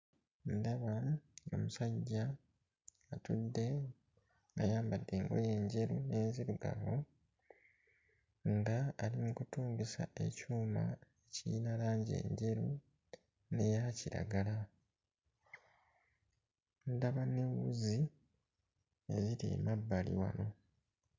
Ndaba omusajja atudde ng'ayambadde engoye enjeru n'enzirugavu nga ali mu kutungisa ekyuma kirina langi enjeru n'eya kiragala. Ndaba ne wuzi eziri mu mabbali wano.